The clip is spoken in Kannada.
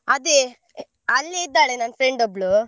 ಅದೇ ಅಲ್ಲಿಯೇ ಇದ್ದಾಳೆ ನನ್ friend ಒಬ್ಬಳು.